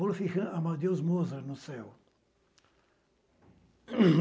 Wolfgang Amadeus Mozart, no céu.